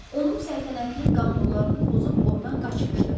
Onun səltənətinin qanunlarını pozub ordan qaçmışdı.